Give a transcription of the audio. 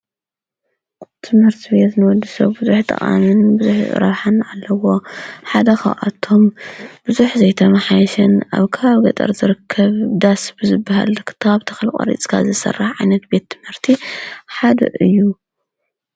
ትምህርቲ ንደቂ ሰባት ኣድላይ ካብ ዝባሃሉ ሓደ ኮይኑ፣ ቆልዑ ርእሶም ንምስፋሕን ፍልጠት ክረክቡን ናብ ቤት ትምህርቲ እንዳከዱ ደረጀኦም እንዳዓበዩ ዝከዱሉ እዩ።